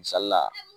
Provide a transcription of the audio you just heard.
Misali la